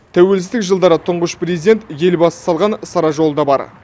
тәуелсіздік жылдары тұңғыш президент елбасы салған сара жолы да бар